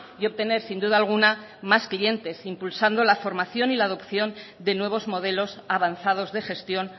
y obtener sin duda alguna más clientes impulsando la formación y la adopción de nuevos modelos avanzados de gestión